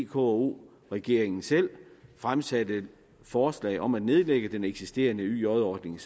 vko regeringen selv fremsatte forslag om at nedlægge den eksisterende yj ordning